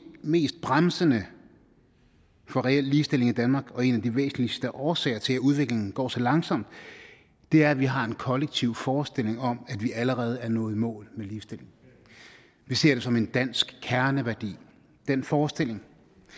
mest bremsende for reel ligestilling i danmark og en af de væsentligste årsager til at udviklingen går så langsomt er at vi har en kollektiv forestilling om at vi allerede er nået i mål med ligestillingen vi ser det som en dansk kerneværdi den forestilling